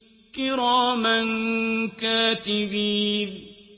كِرَامًا كَاتِبِينَ